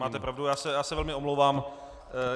Máte pravdu, já se velmi omlouvám.